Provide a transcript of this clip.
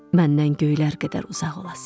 Məndən göylər qədər uzaq olasan.